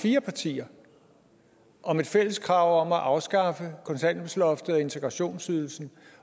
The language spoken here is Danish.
fire partier om et fælles krav om at afskaffe kontanthjælpsloftet og integrationsydelsen